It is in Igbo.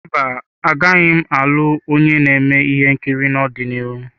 Mba, agaghị m alụ onye na-eme ihe nkiri n'ọdịnihu.